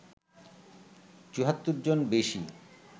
৭৪ জন বেশি